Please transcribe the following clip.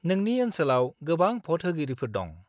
नोंनि ओनसोलाव गोबां भ'ट होगिरिफोर दं।